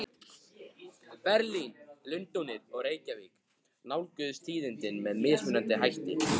Berlín, Lundúnir og Reykjavík nálguðust tíðindin með mismunandi hætti.